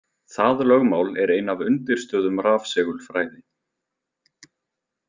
Það lögmál er ein af undirstöðum rafsegulfræði.